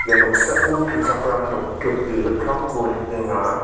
ia noksao tuchakram noktip ge·gittamko nikenga.